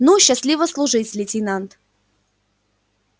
ну счастливо служить лейтенант